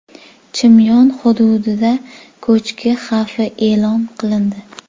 Chimyon hududida ko‘chki xavfi e’lon qilindi.